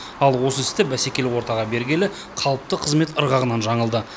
ал осы істі бәсекелі ортаға бергелі қалыпты қызмет ырғағынан жаңылды